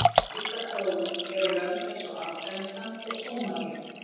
Dæmi um slíka þróun eru lönd eins og Afganistan og Sómalía.